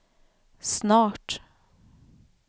snart